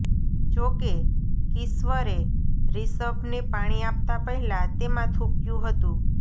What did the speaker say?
જો કે કિશ્વરે રિષભને પાણી આપતા પહેલા તેમાં થૂંક્યુ હતું